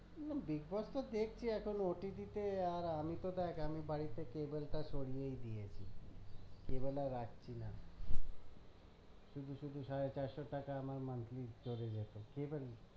না bigboss তো এখন দেখছি OTP আর আমি তো দেখ আমি বাড়িতে cable টা সরিয়েই দিয়েছি cable আর রাখছি না। শুধু শুধু সাড়ে চারশো টাকা আমার monthly চলে যেত cable